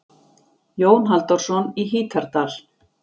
Jón Halldórsson í Hítardal.